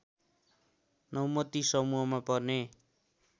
नौमती समूहमा पर्ने